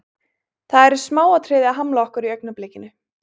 Það eru smáatriði að hamla okkur í augnablikinu.